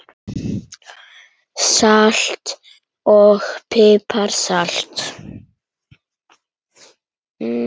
Salt og pipar salat